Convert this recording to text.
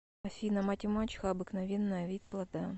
афина мать и мачеха обыкновенная вид плода